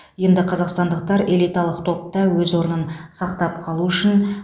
енді қазақстандықтар элиталық топта өз орнын сақтап қалу үшін